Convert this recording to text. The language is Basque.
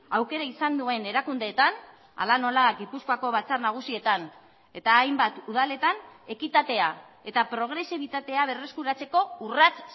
aukera izan duen erakundeetan hala nola gipuzkoako batzar nagusietan eta hainbat udaletan ekitatea eta progresibitatea berreskuratzeko urrats